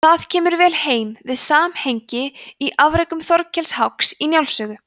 það kemur vel heim við samhengið í afrekum þorkels háks í njáls sögu